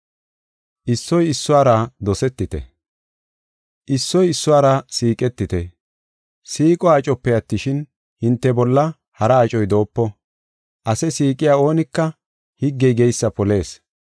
Issoy issuwara siiqetite. Siiqo acope attishin, hinte bolla hara acoy doopo. Ase siiqiya oonika higgey geysa polis.